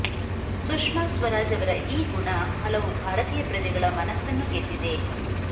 ಸುಷ್ಮಾ ಸ್ವರಾಜ್ ಅವರ ಈ ಗುಣ ಹಲವು ಭಾರತೀಯ ಪ್ರಜೆಗಳ ಮನಸ್ಸನ್ನು ಗೆದ್ದಿದೆ